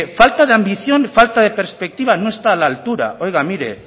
falta de ambición falta de perspectiva no está a la altura oiga mire